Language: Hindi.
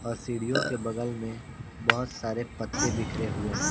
और सीढियों के बगल मे बहुत सारे पत्ते बिखरे हुए हैं।